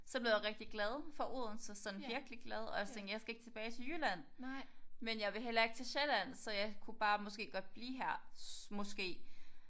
Så blev jeg rigtig glad for Odense sådan virkelig glad og jeg tænkte jeg skal ikke tilbage til Jylland. Men jeg vil heller ikke til Sjælland så jeg kunne bare måske godt blive her måske